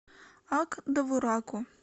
ак довураку